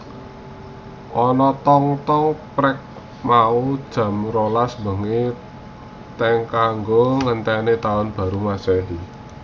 Ono tong tong prek mau jam rolas bengi teng kanggo mengeti taun baru masehi